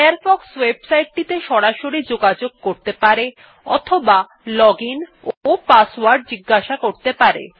Firefox website টিতে সরাসরি যোগাযোগ করতে পারে অথবা লজিন ও পাসওয়ার্ড জিগাসা করতে পারে